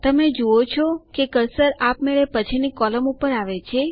તમે જુઓ છો કે કર્સર આપમેળે પછીની કોલમ ઉપર આવે છે